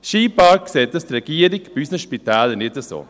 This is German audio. Scheinbar sieht die Regierung das bei unseren Spitälern nicht so.